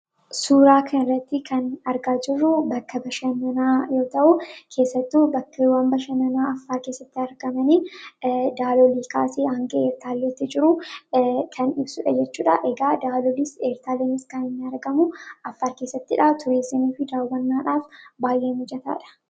Suuraa kana irrati argaa kan jirru bakka bashannanaa yoo ta'u, keessattuu bakkeewwan bashannanaa Affaar keessatti argamanidha. Kunis kan agarsiisu Daalol kaasee handa Ertaalleetti jiru mul'isudha. Egaa Daalolis, Ertaalleenis kan inni argamu Affaar keessattidha. Turizimii fi daawwannaadhaaf baay'ee mijataadha.